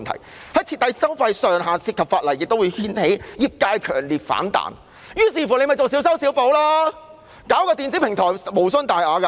如要設定收費上限，會涉及法例修訂，也會掀起業界強烈反彈。於是，政府便作小修小補，設立電子平台無傷大雅。